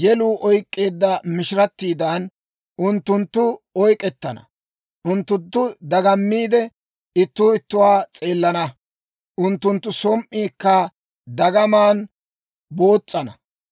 Yeluu oyk'k'eedda mishirattiidan, unttunttu oyk'etana. Unttunttu dagammiide, ittuu ittuwaa s'eelana; unttunttu som"iikka dagamaan boos's'ana.